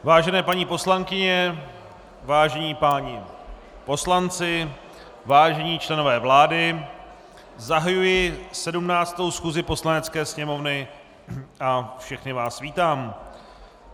Vážené paní poslankyně, vážení páni poslanci, vážení členové vlády, zahajuji 17. schůzi Poslanecké sněmovny a všechny vás vítám.